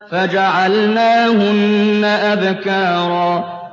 فَجَعَلْنَاهُنَّ أَبْكَارًا